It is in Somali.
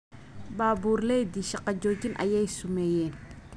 Baburleyti shaka joojin aya sumeyen.